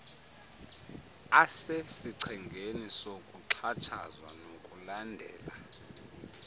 asesichengeni sokuxhatshazwa nokulandela